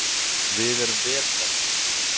Við erum vel stemmdir